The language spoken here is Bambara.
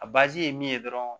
A ye min ye dɔrɔn